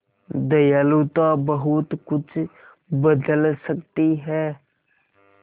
दयालुता बहुत कुछ बदल सकती है